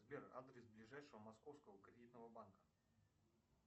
сбер адрес ближайшего московского кредитного банка